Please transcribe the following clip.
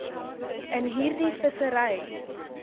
in hierdie vissery